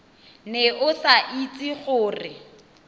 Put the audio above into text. ne o sa itse gore